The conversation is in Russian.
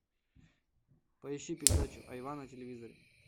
поищи передачу айва на телевизоре